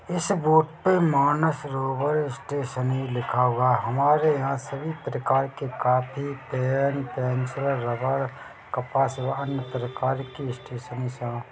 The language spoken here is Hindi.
ऐसे इस बोर्ड पे मानसरोवर स्टैशनेरी लिखा हुआ हमारे यहाँ सभी प्रकार के कापी पेन पेंसिल रबर कपास व अन्य प्रकार की स्टैशनेरी समान।